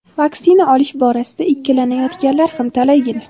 vaksina olish borasida ikkilanayotganlar ham talaygina.